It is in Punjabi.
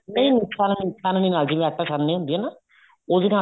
ਨਹੀਂ ਛਾਣਨੀ ਨਾਲ ਜਿਵੇਂ ਆਟਾ ਛਾਣਨੀ ਹੁੰਦੀ ਹੈ ਨਾ ਉਹਦੇ ਨਾਲ